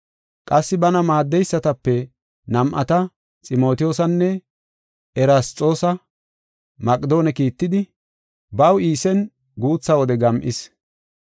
Qassi bana maaddeysatape nam7ata Ximotiyoosanne Erasxoosa Maqedoone kiittidi, baw Iisen guutha wode gam7is.